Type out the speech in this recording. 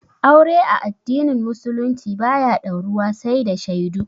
Aure a addinin musulunci ba ya dauruwa sai da shaidu